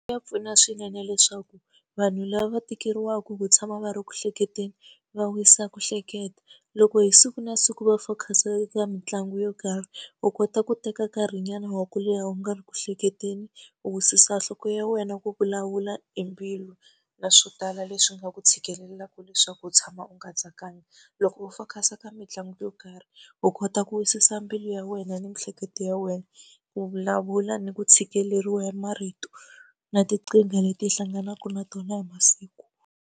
Ya pfuna swinene leswaku vanhu lava va tikeriwaka hi ku tshama va ri ku hleketeni va wisa ku hleketa. Loko hi siku na siku va focus-a eka mitlangu yo karhi u kota ku teka nkarhinyana wa ku leha u nga ri ku hleketeni, u wisisa nhloko ya wena ku vulavula hi mbilu, na swo tala leswi nga ku tshikelelaka leswaku u tshama u nga tsakangi. Loko u focus-a ka mitlangu yo karhi u kota ku wisisa mbilu ya wena ni miehleketo ya wena, u vulavula ni ku tshikeleriwa hi marito na tinkingha leti hi hlanganaka na tona hi masiku.